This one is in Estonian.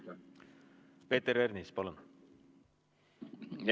Peeter Ernits, palun!